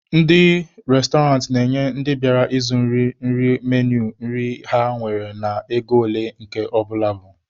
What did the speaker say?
Ndị restọrantị na-enye ndị bịara ịzụ na iri nri menui nri ha nwere na ego ole nke ọbụla bụ.